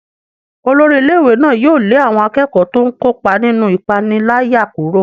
Olórí ilé-ìwé náà yóò lé àwọn akẹ́kọ̀ọ́ tó ń kópa nínú ìpániláyà kúrò.